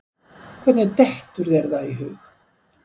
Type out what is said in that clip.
Hvernig dettur þér það í hug?